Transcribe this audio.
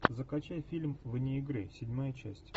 закачай фильм вне игры седьмая часть